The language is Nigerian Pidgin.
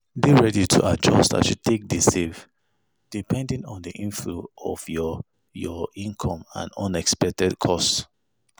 Dey ready to adjust as you take de save depending on the inflow of your your income and unexpected costs